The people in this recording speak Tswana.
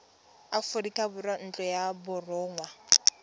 aforika borwa ntlo ya borongwa